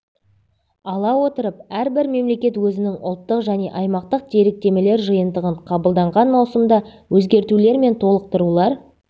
ала отырып әрбір мемлекет өзінің ұлттық және аймақтық деректемелер жиынтығын қабылданған маусымда өзгертулер мен толықтырылулар